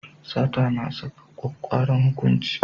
Sata na saka kwakkwaran hukunci.